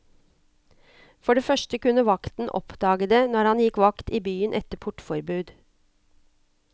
For det første kunne vakten oppdage det når han gikk vakt i byen etter portforbud.